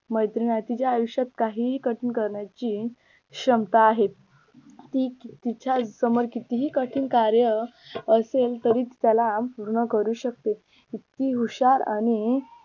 मैत्रीण आहे तिच्या आयुष्यात काहीही कठीण करण्याची क्षमता आहे ती तिच्या समोर कितीही कठीण कार्य असेल तरी त्याला पूर्ण करू शकते इतकी हुशार आणि